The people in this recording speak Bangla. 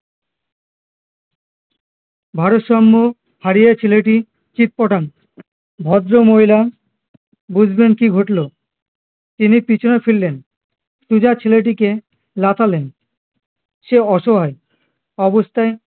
ভারসাম্য হারিয়ে ছেলেটি চিৎপটাং ভদ্রমহিলা বুঝলেন কি ঘটলো তিনি পিছনে ফিরলেন সোজা ছেলেটিকে লাথালেন সে অসহায় অবস্থায়